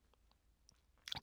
DR K